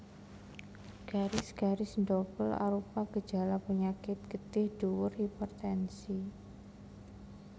Garis garis ndobel arupa gejala penyakit getih dhuwur hipertensi